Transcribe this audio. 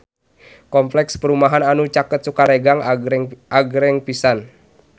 Kompleks perumahan anu caket Sukaregang agreng pisan